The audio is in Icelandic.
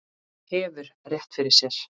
Og hefur rétt fyrir sér.